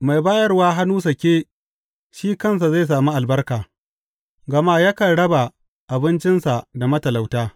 Mai bayarwa hannu sake shi kansa zai sami albarka, gama yakan raba abincinsa da matalauta.